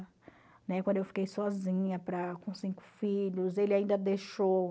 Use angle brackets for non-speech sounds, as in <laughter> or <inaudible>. Né? Quando eu fiquei sozinha <unintelligible> com cinco filhos, ele ainda deixou...